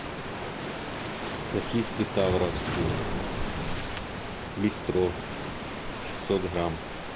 сосиски тавровские бистро шестьсот грамм